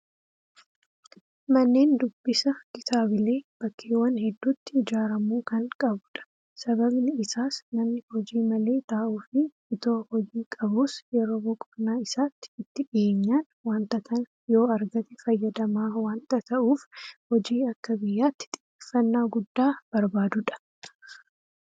Manneen dubbisa kitaabilee bakkeewwan hedduutti ijaaramuu kan qabudha. Sababni isaas namni hojii malee taa'uufi itoo hojii qabuus yeroo boqonnaa isaatti itti dhiyeenyaan waanta kana yoo argate fayyadamaa waanta ta'uuf hojii akka biyyaatti xiyyeeffannaa guddaa barbaadudha.